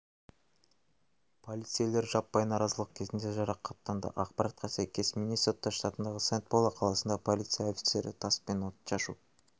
полицейлер жаппай наразылық кезінде жарақаттанды ақпаратқа сәйкес миннесота штатындағы сент-пол қаласында полиция офицері тас пен отшашу